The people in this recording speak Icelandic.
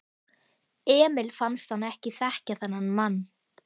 Emil fannst hann ekki þekkja þennan mann.